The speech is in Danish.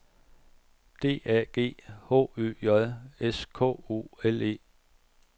D A G H Ø J S K O L E